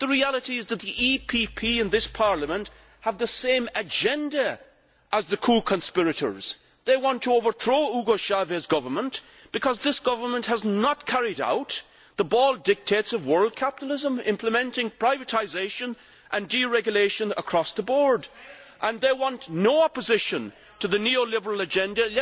The reality is that the EPP in this Parliament has the same agenda as the coup conspirators they want to overthrow Hugo Chávez's government because this government has not carried out the bold dictates of world capitalism implementing privatisation and deregulation across the board, and they want no opposition to the neoliberal agenda.